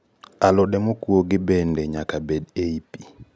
Alode mokuogi bende nyaka bed ei pi